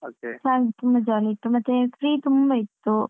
Class ತುಂಬ jolly ಇತ್ತು ಮತ್ತೆ free ತುಂಬ ಇತ್ತು.